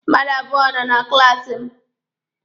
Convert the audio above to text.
Mmadụ abụọ nọ na klaasi m.